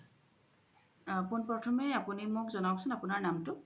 পুন প্ৰথমে আপুনি আমাক জোনাওকচোন আপুনাৰ নামতু